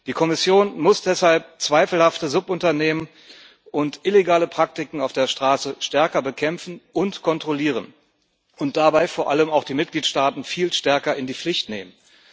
Die Kommission muss deshalb zweifelhafte Subunternehmen und illegale Praktiken auf der Straße stärker bekämpfen und kontrollieren und dabei vor allem auch die Mitgliedstaaten viel stärker in die Pflicht nehmen.